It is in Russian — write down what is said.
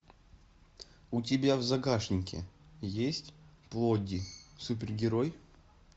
у тебя в загашнике есть плодди супергерой